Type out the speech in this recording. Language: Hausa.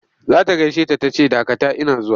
Za ta gaishe ta ta ce dakata ina zuwa!